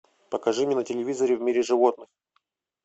покажи мне на телевизоре в мире животных